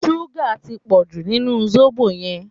Súgà tí pọ̀jù nínú sóbò yẹn